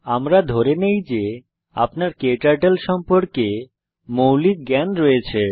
আমরা ধরে নেই যে আপনার ক্টার্টল সম্পর্কে মৌলিক জ্ঞান রয়েছে